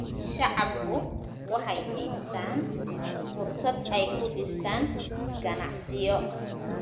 Shacabku waxay haystaan ??fursad ay ku dhistaan ??ganacsiyo.